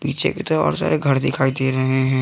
पीछे की तरफ और सारे घर दिखाई दे रहे हैं।